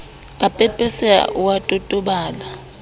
a pepeseha o a totobala